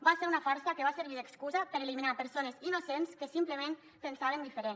va ser una farsa que va servir d’excusa per eliminar persones innocents que simplement pensaven diferent